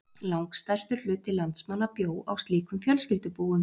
Langstærstur hluti landsmanna bjó á slíkum fjölskyldubúum.